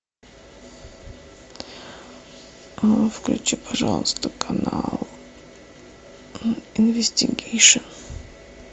включи пожалуйста канал инвестигейшн